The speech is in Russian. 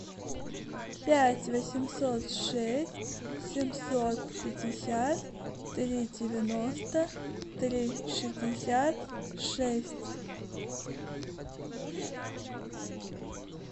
пять восемьсот шесть семьсот пятьдесят три девяносто три шестьдесят шесть